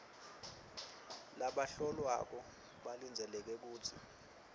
labahlolwako balindzeleke kutsi